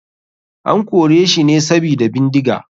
An koreshi ne sabida bindiga.